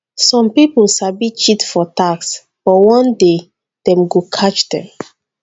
some people sabi cheat for tax but one day dem go catch them.